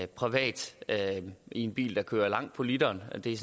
privat i en bil der kører langt på literen det er